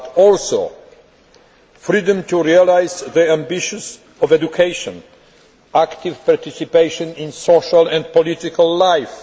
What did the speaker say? It also means freedom to realise the ambitions of education and active participation in social and political life.